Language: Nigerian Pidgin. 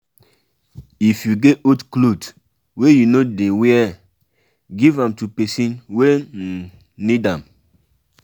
if you get old cloth wey you no dey wear give am to pesin wey um need am.